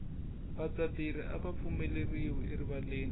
vadzaberi ava pfumeleriwi erivaleni